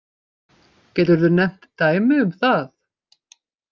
Geturðu nefnt dæmi um það?